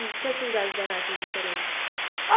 E que atividades eram essas diferentes?